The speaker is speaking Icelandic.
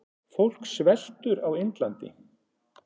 Fólk sveltur á Indlandi.